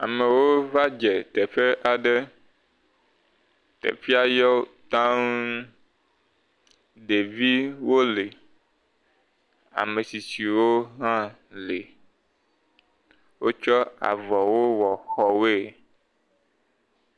Amewo va dze teƒe aɖe, teƒea yɔ taŋ. Ɖeviwo le, ame tsitsiwo hã le. Wotsɔ avɔwo wɔ xɔwoe.